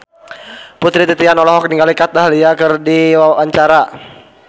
Putri Titian olohok ningali Kat Dahlia keur diwawancara